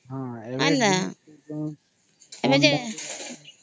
ହଁ ଏବେ ଯେ